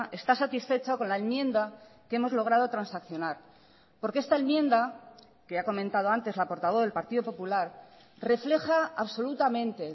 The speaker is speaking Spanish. está satisfecho con la enmienda que hemos logrado transaccionar porque esta enmienda que ha comentado antes la portavoz del partido popular refleja absolutamente